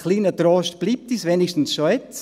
Ein kleiner Trost bleibt uns immerhin schon jetzt: